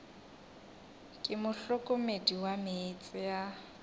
ke mohlokomedi wa meetse a